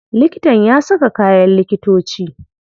Likitan ya saka kayan likitoci.